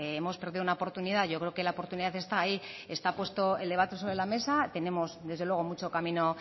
hemos perdido una oportunidad yo creo que la oportunidad está ahí esta puesto el debate sobre la mesa tenemos desde luego mucho camino